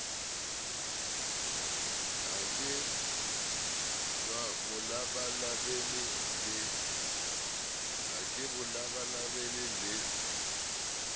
ha ke bo labalabele le